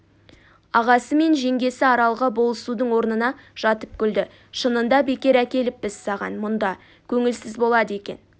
ағасы мен жеңгесі аралға болысудың орнына жатып күлді шынында бекер әкеліппіз саған мұнда көңілсіз болады екен